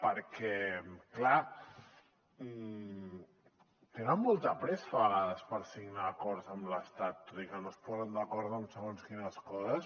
perquè clar tenen molta pressa a vegades per signar acords amb l’estat tot i que no es posen d’acord en segons quines coses